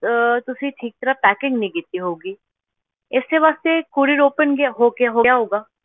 ਅਹ ਤੁਸੀਂ ਠੀਕ ਤਰ੍ਹਾਂ packing ਨਹੀਂ ਕੀਤੀ ਹੋਊਗੀ, ਇਸੇ ਵਾਸਤੇ ਇਹ courier open ਗਿਆ ਹੋ ਗਿਆ ਹੋ ਗਿਆ ਹੋਊਗਾ।